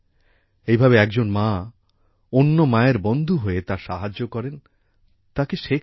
এইভাবে একজন মা অন্য মায়ের বন্ধু হয়ে তার সাহায্য করেন তাকে শেখান